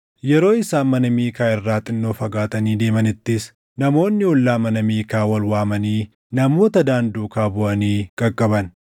Yeroo isaan mana Miikaa irraa xinnoo fagaatanii deemanittis, namoonni ollaa mana Miikaa wal waamanii namoota Daan duukaa buʼanii qaqqaban.